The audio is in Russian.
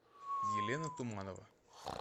елена туманова